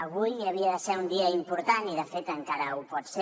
avui havia de ser un dia important i de fet encara ho pot ser